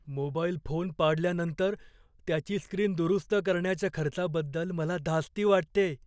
Mobile phone पाडल्यानंतर त्याची screen दुरुस्त करण्याच्या खर्चाबद्दल मला धास्ती वाटतेय.